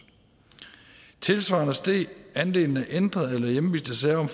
tilsvarende steg andelen af ændrede eller hjemviste sager om